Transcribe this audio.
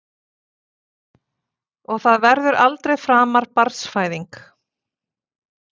Og það verður aldrei framar barnsfæðing.